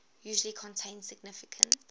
usually contain significant